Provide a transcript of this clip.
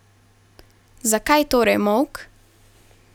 Zakaj torej molk?